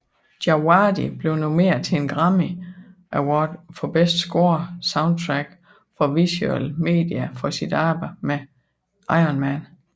Djawadi blev nomineret til en Grammy Award for Best Score Soundtrack for Visual Media for sit arbejde med Iron Man